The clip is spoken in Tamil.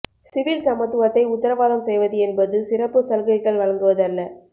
சிவில் சமத்துவத்தை உத்தரவாதம் செய்வது என்பது சிறப்பு சலுகைகள் வழங்குவது அல்ல